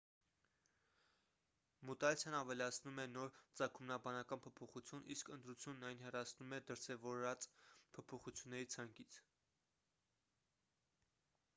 մուտացիան ավելացնում է նոր ծագումնաբանական փոփոխություն իսկ ընտրությունն այն հեռացնում է դրսևորված փոփոխությունների ցանկից